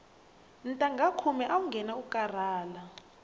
ntangha khume awu nghena u karhala